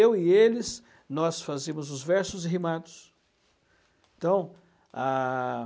Eu e eles nós fazíamos os versos e rimados. Então, a